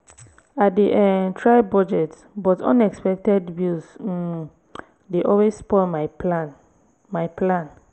i dey um try budget but unexpected bills um dey always spoil my plan. my plan.